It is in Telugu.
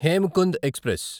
హేమకుంద్ ఎక్స్ప్రెస్